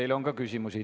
Teile on ka küsimusi.